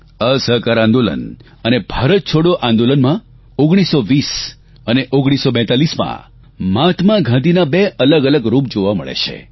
અસહકાર આંદોલન અને ભારત છોડો આંદોલનમાં 1920 અને 1942માં મહાત્મા ગાંધીના બે અલગઅલગ રૂપ જોવા મળે છે